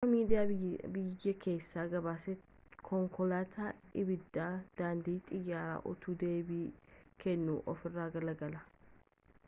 akka miidiyaan biyya keessa gabaasetti konkoolatan ibiddaa daandii xiyyara utuu deebii kennuu ofirra galagalee